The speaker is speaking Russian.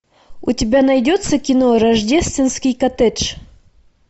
у тебя найдется кино рождественский коттедж